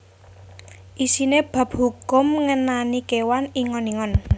Isiné bab hukum ngenani kéwan ingon ingon